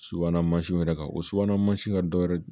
Subahana mansinw yɛrɛ kan o subahana mansinw ka dɔ wɛrɛ